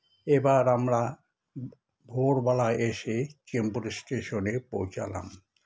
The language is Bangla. এবার আমরা ভোর বেলায় এসে চেম্পুরে station -এ পৌছালাম